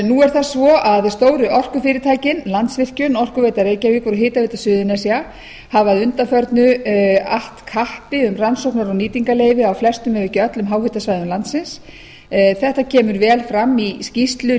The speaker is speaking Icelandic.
nú er það svo að stóru orkufyrirtækin landsvirkjun orkuveita reykjavíkur og hitaveita suðurnesja hafa að undanförnu att kappi um rannsóknar og nýtingarleyfi á flestum ef ekki öllum háhitasvæðum landsins þetta kemur vel fram í